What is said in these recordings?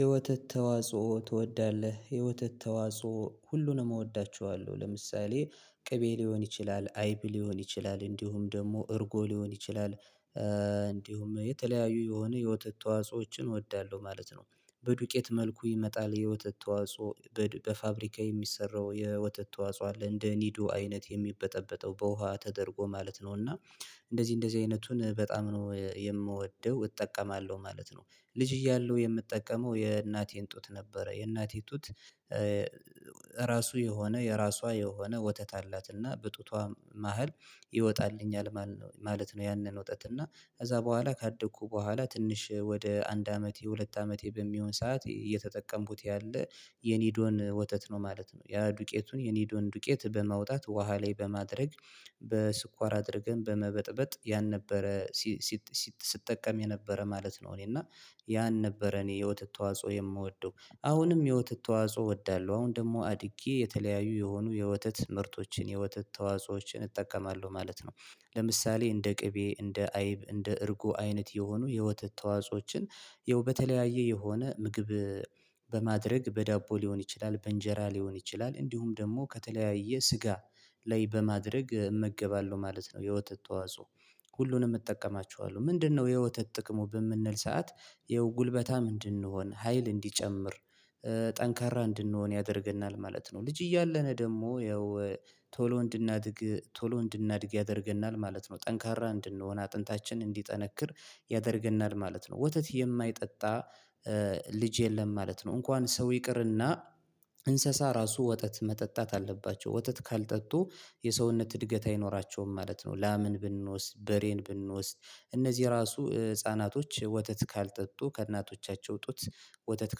የወተት ተዋጽኦ ትወዳለህ? የወተት ተዋጽኦ ሁሉንም እወዳቸዋለሁ ለምሳሌ ቅቤ ሊሆን ይችላል አይብ ሊሆን ይችላል እንዲሁም ደግሞ እርጎ ሊሆን ይችላል እንዲሁም የተለያዩ የሆነ የወተት ተዋጾዎችን እወዳለሁ ማለት ነው። በዱቄት መልኩ ይመጣል የወተት ተዋጾ በፋብሪካ የሚሰራው የወተት ተዋጽኦ አለ እንደ ኒዶ አይነት የሚበጠበጠው በውሃ ተደርጎ ማለት ነው። እና እንደዚህ እንደዚህ አይነቱን በጣም ነው የምወደው እጠቀማለሁ ማለት ነው። ልጅ እያለሁ የምጠቀመው የእናቴን ጡት ነበረ የእናቴ ጡት ራሱ የሆነ የራሷ የሆነ ወተት አላትና በጡቷ መሃል ይወጣልኛል ማለት ነው። ያንን ወተትና ከዛ በኋላ ካደኩ በኋላ ትንሽ ወደ አንድ አመት የሁለት አመቴ በሚሆን ሰዓት እየተጠቀምኩት ያለ የኒዶን ወተት ነው ማለት ነው። ያ ዱቄቱን የኒዶን ዱቄት በማውጣት ውሃ ላይ በማድረግ በስኳር አድርገን በመበጥበጥ ያን ነበረ። ስጠቀም የነበረ ማለት ነው። እኔ እና ያን ነበረ እኔ የወተት ተዋጽኦ የምወደው። አሁንም የወተት ተዋጽኦ እወዳለሁ አሁን ደግሞ አድጌ የተለያዩ የሆኑ የወተት ምርቶችን የወተት ተዋጾዎችን እጠቀማለሁ ማለት ነው። ለምሳሌ እንደ ቅቤ እንደ አይብ እንደ እርጎ አይነት የሆኑ የወተት ተዋጾዎችን በተለያየ የሆነ ምግብ በማድረግ በዳቦ ሊሆን ይችላል በእንጀራ ሊሆን ይችላል እንዲሁም ደግሞ ከተለያየ ስጋ ላይ በማድረግ እመገባለሁ ማለት ነው። የወተት ተዋጽኦ ሁሉንም እጠቀማችኋለሁ ምንድነው? የወተት ጥቅሙ በምንል ሰዓት ይሄው ጉልበታ ምንድን ነው ሀይል እንዲጨምር ጠንካራ እንድንሆን ያደርገናል ማለት ነው። ልጅ እያለን ደግሞ ያው ቶሎ እንድናድግ ቶሎ እንድናድግ ያደርገናል ማለት ነው። ጠንካራ እንድንሆን አጥንታችን እንዲጠነክር ያደርገናል ማለት ነው። ወተት የማይጠጣ ልጅ የለም ማለት ነው። እንኳን ሰው ይቅርና እንስሳ ራሱ ወተት መጠጣት አለባቸው ወተት ካልጠጡ የሰውነት እድገት አይኖራቸውም ማለት ነው። ላምን ብንወስድ በሬን ብንወስድ እነዚህ ራሱ ህፃናቶች ወተት ካልጠጡ ከእናቶቻቸው ጡት ወተት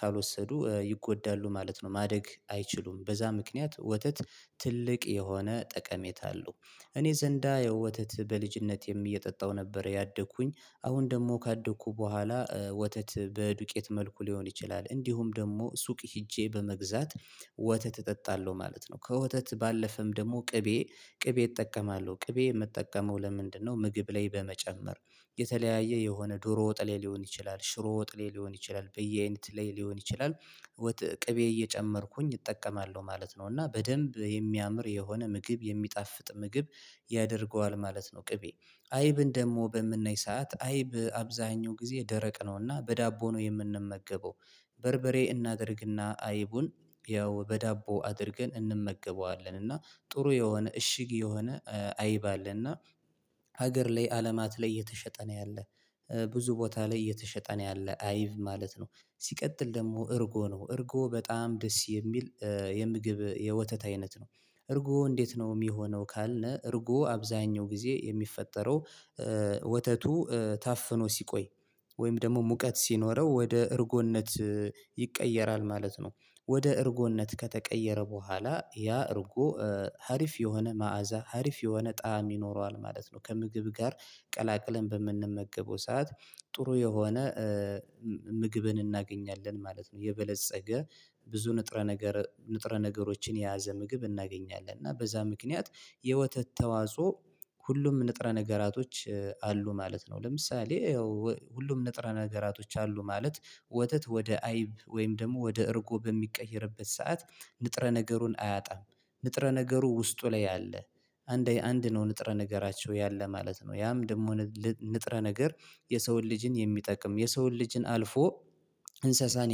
ካልወሰዱ ይጎዳሉ ማለት ነው። ማደግ አይችሉም በዛ ምክንያት ወተት ትልቅ የሆነ ጠቀሜታ አለው። እኔ ዘንዳ የወተት በልጅነቴም እየጠጣሁ ነበር ያደግኩኝ። አሁን ደግሞ ካደግኩ በኋላ ወተት በዱቄት መልኩ ሊሆን ይችላል እንዲሁም ደግሞ ሱቅ ሄጄ በመግዛት ወተት እጠጣለሁ ማለት ነው። ከወተት ባለፈም ደግሞ ቅቤ ቅቤ እጠቀማለሁ ቅቤ የምጠቀመው ለምንድነው? ምግብ ላይ በመጨመር የተለያየ የሆነ ዶሮ ወጥሌ ሊሆን ይችላል ሽሮ ወጥሌ ሊሆን ይችላል በየአይነት ላይ ሊሆን ይችላል ቅቤ እየጨመርኩኝ እጠቀማለሁ ማለት ነው። እና በደንብ የሚያምር የሆነ ምግብ የሚጣፍጥ ምግብ ያደርገዋል ማለት ነው። ቅቤ አይብን ደግሞ በምነይ ሰዓት አይብ አብዛኛው ጊዜ ደረቅ ነውና በዳቦ ነው የምንመገበው። በርበሬ እናድርግና አይቡን ያው በዳቦ አድርገን እንመገበዋለን እና ጥሩ የሆነ እሽግ የሆነ አይብ አለና። ሀገር ላይ አለማት ላይ እየተሸጠ ነው ያለ ብዙ ቦታ ላይ እየተሸጠ ነው ያለህ አይብ ማለት ነው። ሲቀጥል ደግሞ እርጎ ነው እርጎ በጣም ደስ የሚል የምግብ የወተት አይነት ነው። እርጎ እንዴት ነው የሚሆነው? ካለ እርጎ አብዛኛው ጊዜ የሚፈጠረው ወተቱ ታፍኖ ሲቆይ ወይም ደግሞ ሙቀት ሲኖረው ወደ እርጎነት ይቀየራል ማለት ነው። ወደ እርጎነት ከተቀየረ በኋላ ያ እርጉ ሀሪፍ የሆነ መዓዛ ሀሪፍ የሆነ ጣዕም ይኖረዋል ማለት ነው። ከምግብ ጋር ቀላቅለን በምንመገበው ሰዓት ጥሩ የሆነ ምግብን እናገኛለን ማለት ነው። የበለፀገ ብዙ ንጥረ ነገር ንጥረ ነገሮችን የያዘ ምግብ እናገኛለን። እና በዛ ምክንያት የወተት ተዋጾ ሁሉም ንጥረ ነገራቶች አሉ ማለት ነው። ለምሳሌ ያው ሁሉም ንጥረ ነገራቶች አሉ ማለት ወተት ወደ አይብ ወይም ደግሞ ወደ እርጎ በሚቀየርበት ሰዓት ንጥረ ነገሩን አያጣም። ንጥረ ነገሩ ውስጡ ላይ ያለ አንድ ነው ንጥረ ነገራቸው ያለ ማለት ነው። ያም ደግሞ ንጥረ ነገር የሰውን ልጅን የሚጠቅም የሰውን ልጅን አልፎ እንስሳን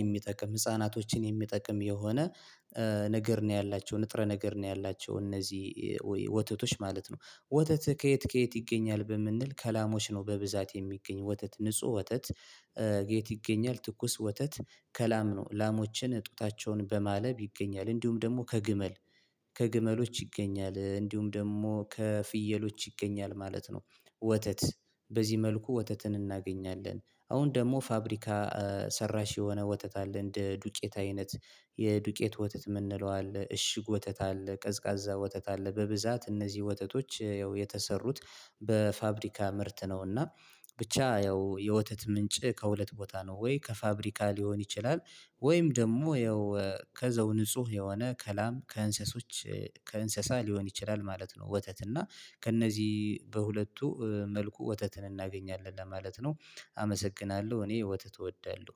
የሚጠቅም ህፃናቶችን የሚጠቅም የሆነ ነገር ነው ያላቸው ንጥረ ነገር ነው። ያላቸው እነዚህ ወተቶች ማለት ነው። ወተት ከየት ከየት ይገኛል? በምንል ከላሞች ነው በብዛት የሚገኝ ወተት ንጹህ ወተት። የት ይገኛል? ትኩስ ወተት ከላም ነው። ላሞችን ጡታቸውን በማለብ ይገኛል። እንዲሁም ደግሞ ከግመል ከግመሎች ይገኛል እንዲሁም ደግሞ ከፍየሎች ይገኛል ማለት ነው። ወተት በዚህ መልኩ ወተትን እናገኛለን። አሁን ደግሞ ፋብሪካ ሰራሽ የሆነ ወተት አለ እንደ ዱቄት አይነት። የዱቄት ወተት የምንለው አለ። እሽግ ወተት አለ። ቀዝቃዛ ወተት አለ። በብዛት እነዚህ ወተቶች ያው የተሰሩት በፋብሪካ ምርት ነውና። ብቻ ያው የወተት ምንጭ ከሁለት ቦታ ነው ወይ ከፋብሪካ ሊሆን ይችላል። ወይም ደግሞ ያው ከዘው ንጹህ የሆነ ከላም ከእንስሶች ከእንስሳ ሊሆን ይችላል ማለት ነው። ወተት እና ከእነዚህ በሁለቱ መልኩ ወተትን እናገኛለን ለማለት ነው። አመሰግናለሁ እኔ ወተት እወዳለሁ።